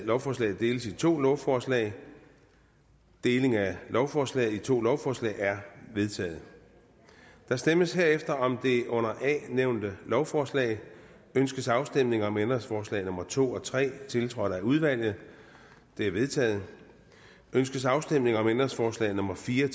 lovforslaget deles i to lovforslag deling af lovforslaget i to lovforslag er vedtaget der stemmes herefter om det under a nævnte lovforslag ønskes afstemning om ændringsforslag nummer to og tre tiltrådt af udvalget de er vedtaget ønskes afstemning om ændringsforslag nummer fire